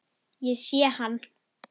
Ég sé hann.